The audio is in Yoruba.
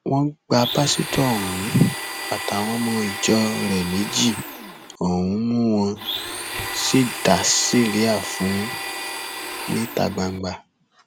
wọn gba pásítọ ọhún àtàwọn ọmọ ìjọ rẹ méjì ọhún mú wọn sì dá síríà fún un níta gbangba